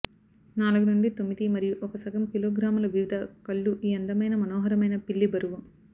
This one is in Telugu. నాలుగు నుండి తొమ్మిది మరియు ఒక సగం కిలోగ్రాముల వివిధ కళ్ళు ఈ అందమైన మనోహరమైన పిల్లి బరువు